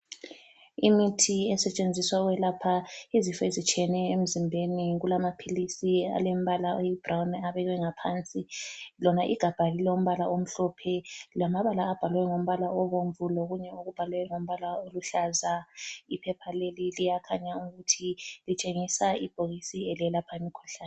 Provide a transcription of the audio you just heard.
Imithi esetshenziswa ukwelapha izifo ezitshiyeneyo emzimbeni kulamaphilisi alembala oyibhurawuni afakwe ngaphansi lona igabha lilombala omhlophe lamabala abhalwe ngombala obomvu lokunye okubhalwe ngamabala aluhlaza. Iphepha leli liyakhanya ukuthi litshengisa Ibhokisi elelapha imkhuhlane.